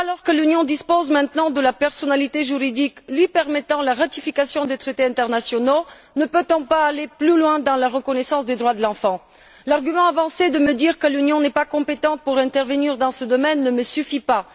Pourquoi, alors que l'Union dispose maintenant de la personnalité juridique lui permettant la ratification des traités internationaux, ne peut elle pas aller plus loin dans la reconnaissance des droits de l'enfant? L'argument consistant à dire que l'Union n'est pas compétente pour intervenir dans ce domaine ne me suffit pas.